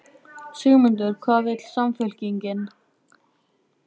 Sigmundur: Hvað vill Samfylkingin?